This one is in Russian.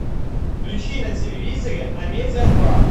включи на телевизоре амедия два